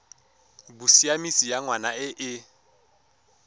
bosiamisi ya ngwana e e